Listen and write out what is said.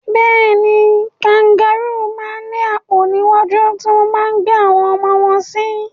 Bẹ́ẹ̀ni, kangarúù máa ń ní àpò níwájú tí wọ́n máa ń gbé àwọn ọmọ wọn sí.